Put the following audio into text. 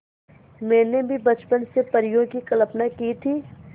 मैंने भी बचपन से परियों की कल्पना की थी